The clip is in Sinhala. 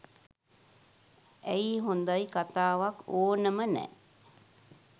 ඇයි හොඳයි කතාවක් ඕනම නෑ.